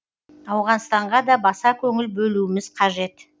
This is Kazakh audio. ауғанстанға да баса көңіл бөлуіміз қажет